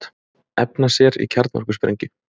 Efna sér í kjarnorkusprengju